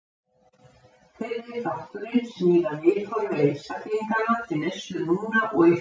Fyrri þátturinn snýr að viðhorfi einstaklinganna til neyslu núna og í framtíðinni.